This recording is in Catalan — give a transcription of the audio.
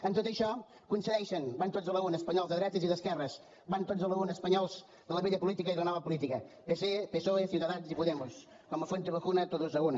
en tot això coincideixen van tots a l’una espanyols de drets i d’esquerres van tots a l’una espanyols de la vella política i de la nova política pp psoe ciudadanos i podemos com a fuenteovejuna todos a una